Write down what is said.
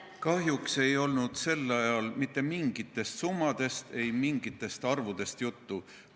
Kahjuks ei olnud sel ajal mitte mingitest summadest ega mingitest arvudest juttu.